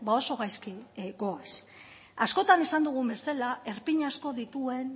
oso gaizki goaz askotan esan dugun bezala erpin asko dituen